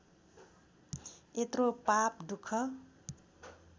यत्रो पाप दुख